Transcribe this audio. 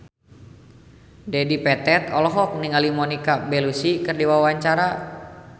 Dedi Petet olohok ningali Monica Belluci keur diwawancara